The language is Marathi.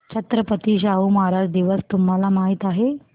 छत्रपती शाहू महाराज दिवस तुम्हाला माहित आहे